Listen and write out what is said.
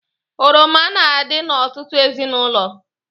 Oroma na-adi n'ọtụtụ ezinụlọ.